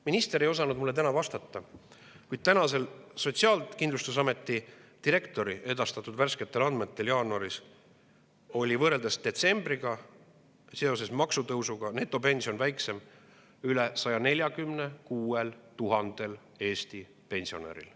Minister ei osanud mulle täna vastata, kuid Sotsiaalkindlustusameti direktori edastatud värskete andmete kohaselt oli netopension jaanuaris võrreldes detsembriga seoses maksutõusuga väiksem üle 146 000‑l Eesti pensionäril.